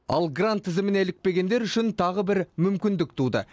ал грант тізіміне ілікпегендер үшін тағы бір мүмкіндік туды